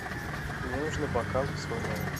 мне нужны бокалы в свой номер